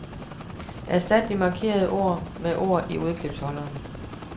Erstat de markerede ord med ord i udklipsholderen.